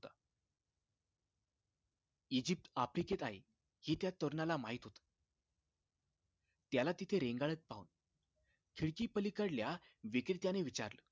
Egypt आफ्रिकेत आहे हे त्या तरुणाला माहित होत त्याला तिथे रेंगाळत पाहून खिडकी पलीकडल्या विक्रेत्याने विचारलं